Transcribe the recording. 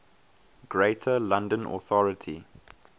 greater london authority